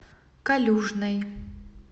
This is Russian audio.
калюжной